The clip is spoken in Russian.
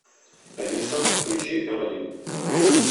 алиса включи м один